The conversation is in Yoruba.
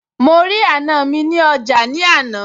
mo rí àna mi nih ọjà ní àná